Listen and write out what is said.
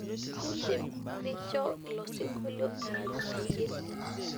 Idim nirnjo ilo sinkolio erany aigil